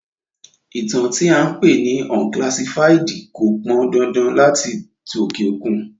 Ìtàn tí à ń pè ní unclassified kò pan dandan láti tí òkè òkun